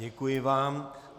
Děkuji vám.